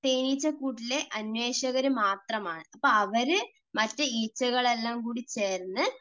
തേനീച്ചക്കൂട്ടിലെ അന്വേഷകർ മാത്രമാണ്. അവര്, മറ്റ് ഈച്ചകൾ എല്ലാംകൂടി ചേർന്ന്